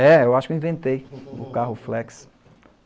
É, eu acho que eu inventei o carro flex.